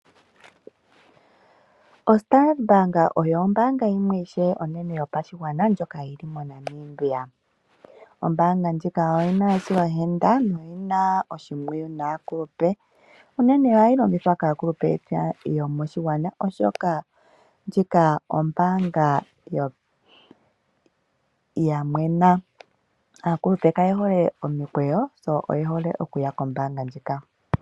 OStandard Bank oyo ombaanga onene yopashigwana, ndjoka yi li moNamibia. Ombaanga ndjika oyi na esilohenda noyi na oshimpwiyu naakulupe. Unene ohayi longithwa kaakulupe moshilongo shetu, oshoka ndjika ombaanga ya mwena. Aakulupe kaye hole omikwesho, sho osho ye hole okuya kombaanga ndjika.